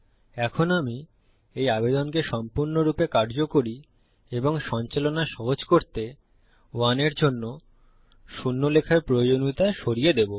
এখম আমি এই আবেদনকে সম্পূর্ণরূপে কার্যকরী এবং সঞ্চালন সহজ করার জন্য কি করবো যে 1 এর জন্য শূন্য লেখার প্রয়োজনীয়তা সরিয়ে দেবো